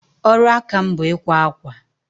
Ọrụ aka m bụ ikwa akwa.